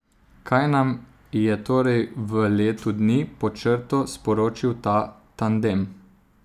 Kaj nam je torej v letu dni pod črto sporočil ta tandem?